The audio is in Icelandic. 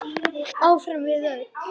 Áfram við öll.